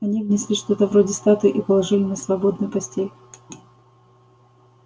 они внесли что-то вроде статуи и положили на свободную постель